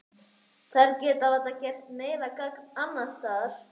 Þær geta varla gert meira gagn annars staðar.